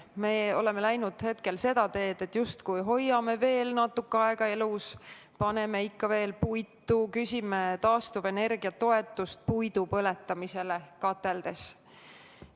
Me oleme läinud seda teed, et justkui hoiame veel natuke aega elus, paneme ikka veel puitu kateldesse, küsime taastuvenergia toetust puidu põletamiseks kateldes.